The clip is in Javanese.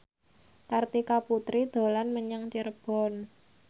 Kartika Putri dolan menyang Cirebon